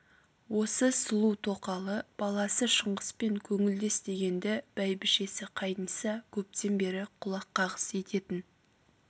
осы сұлу тоқалы баласы шыңғыспен көңілдес дегенді бәйбішесі қайниса көптен бері құлақ-қағыс ететін